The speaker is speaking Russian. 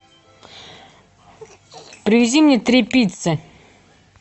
привези мне три пиццы